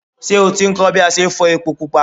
Ṣé o ti kọ́ ń bí a ṣe ń fọ ẹpo pupa?